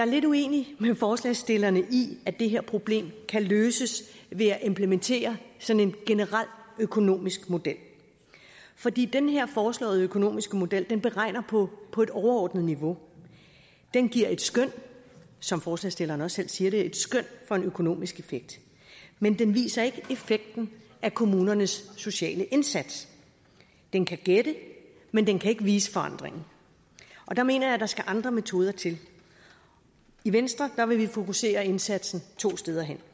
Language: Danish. lidt uenig med forslagsstillerne i at det her problem kan løses ved at implementere sådan en generel økonomisk model fordi den her foreslåede økonomiske model beregner på et overordnet niveau den giver et skøn som forslagsstillerne også selv siger det for en økonomisk effekt men den viser ikke effekten af kommunernes sociale indsats den kan gætte men den kan ikke vise forandringen og der mener jeg at der skal andre metoder til i venstre vil vi fokusere indsatsen to steder